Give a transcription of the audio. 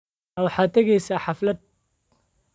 Ma waxaad tegaysaa xaflad?